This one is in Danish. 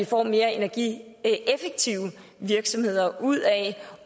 får mere energieffektive virksomheder ud af